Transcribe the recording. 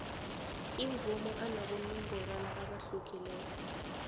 imvumo anabonongorwana abahlukeneko